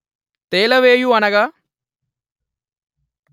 తేలవేయు అనగా